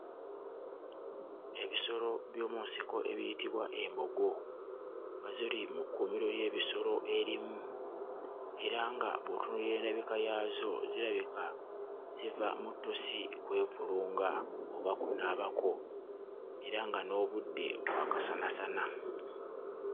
Ebisolo by'omu nsiko ebiyitibwa embogo nga ziri mu kkuumiro ly'ensolo erimu era nga bw'otunuulira endabika yaazo zirabika ziva mu ttosi kwevulunga oba kunaabako era nga n'obudde bwa kasanasana.